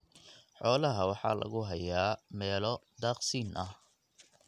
Xoolaha waxa lagu hayaa meelo daaqsin ah.